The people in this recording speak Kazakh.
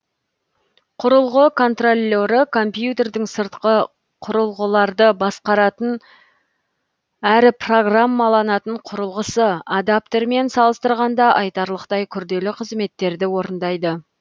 құрылғы контроллері компьютердің сыртқы құрылғыларды басқаратын өрі программаланатын құрылғысы адаптермен салыстырғанда айтарлықтай күрделі қызметтерді орындайды